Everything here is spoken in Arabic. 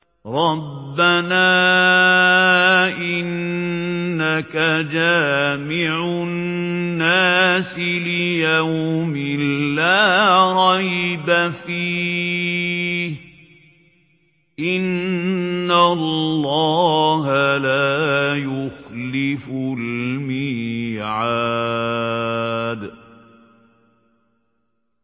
رَبَّنَا إِنَّكَ جَامِعُ النَّاسِ لِيَوْمٍ لَّا رَيْبَ فِيهِ ۚ إِنَّ اللَّهَ لَا يُخْلِفُ الْمِيعَادَ